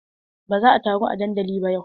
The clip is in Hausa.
Ba za a taru a dandali ba yau.